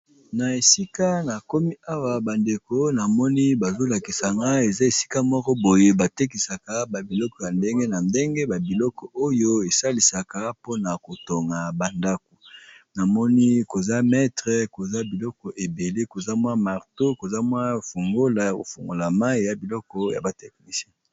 Na esika nakomi awa bandeko eza esika batekisaka ba biloko ya ndenge na ndenge esalisaka pona kotonga ndako koza maître, marteau, fungulo ya mayi eza biloko ya ba technicien.